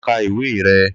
Lo ka ìwé re!